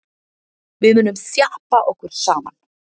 Við munum þjappa okkur saman.